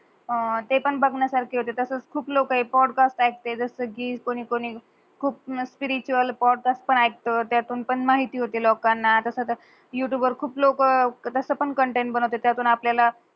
ते पण बगण्या सार्क हुते. तसच खूप लोक पोड्कास्ट तस कि कोणी कोणी खूप मास्किरीच पोड्कास्ट पण आहेत. त्यातून पण माहिती होते लोकंना युटूब वर खूप लोक तस पण कंटेंट बनवते त्यातून आपलेल.